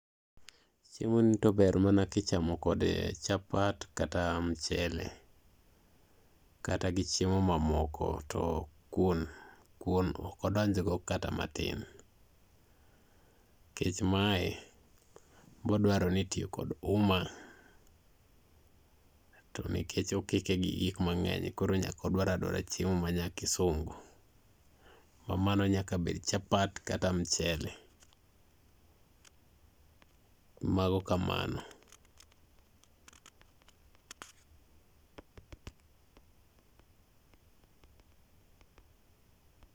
Chiemoni to ber mana kichamo kode chapat kata mchele, kata gi chiemo mamoko, to kuon ok odonjgo kata matin, nikech mae bo dwaro ni itiyo kod uma, to nikech okike gi gik mang'eny koro nyaka odwar adwara chiemo ma nyakisungu ma mano nyaka bed chapat kata mchele. Mago kamano.